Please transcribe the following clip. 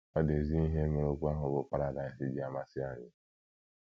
Ọ dị ezi ihe mere okwu ahụ bụ́ “ paradaịs ” ji amasị anyị.